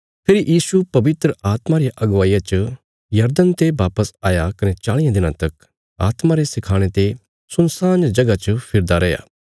फेरी यीशु पवित्र आत्मा रिया अगुवाईया च यरदन ते वापस आया कने चाल़ियां दिनां तक आत्मा रे सखाणे ते सुनसान जगह च फिरदा रैया